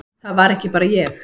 Það var ekki bara ég.